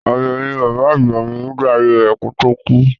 Àgbẹ̀ ni bàbá àgbà mi nígbà ayé rẹ̀ kó tó kú.